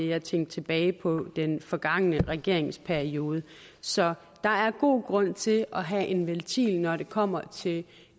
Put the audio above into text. jeg tænkte tilbage på den forgangne regeringsperiode så der er god grund til at have en ventil når det kommer til